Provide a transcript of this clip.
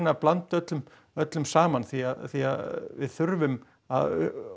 að blanda öllum öllum saman því því að við þurfum að